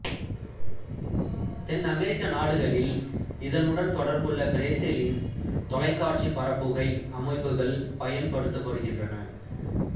தென்னமெரிக்க நாடுகளில் இதனுடன் தொடர்புள்ள பிரேசில்லின் தொலைக்காட்சிப் பரப்புகை அமைப்புக்கள் பயன்படுத்தப்படுகின்றன